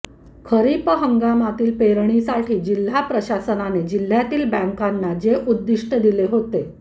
खरीप हंगामातील पेरणीसाठी जिल्हा प्रशासनाने जिल्ह्यातील बँकाना जे उद्दीष्ट दिले होते